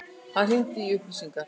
Hann hringdi í upplýsingar.